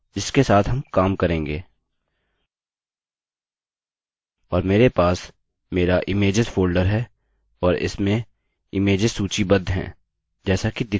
और मेरे पास मेरा इमेज्स फोल्डर है और इसमें इमेज्स सूचीबद्ध हैं जैसा कि दिखाया गया है